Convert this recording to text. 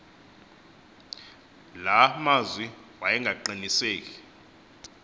la mazwi wayengaqiniseki